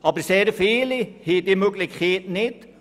Aber sehr viele Leute haben diese Möglichkeit nicht.